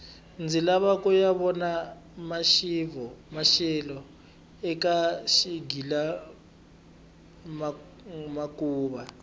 ndzi lava kuya vona maxelo eka xigila mihkuva